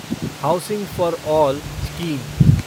housing for all scheme